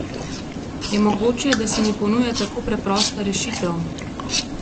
Je mogoče, da se mi ponuja tako preprosta rešitev?